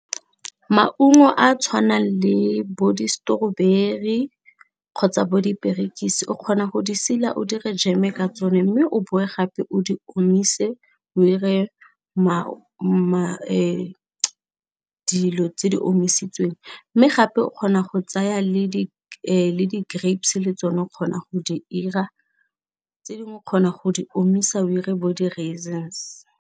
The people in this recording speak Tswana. Maungo a tshwanang le bo di strwaberry kgotsa bo diperekisi o kgona go di sila o dire jeme ka tsone mme o boe gape o di omise o dire dilo tse di omisitsweng mme gape o kgona go tsaya le di grapes le tsone o kgona go di 'ira tse dingwe o kgona go di omisa o dire bo di raisins.